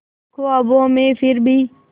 ख्वाबों में फिर भी